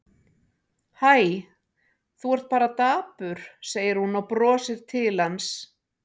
Hæ, þú ert bara dapur, segir hún og brosir til hans.